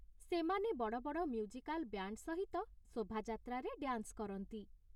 ସେମାନେ ବଡ଼ ବଡ଼ ମ୍ୟୁଜିକାଲ୍ ବ୍ୟାଣ୍ଡ୍ ସହିତ ଶୋଭାଯାତ୍ରାରେ ଡ୍ୟାନ୍ସ କରନ୍ତି ।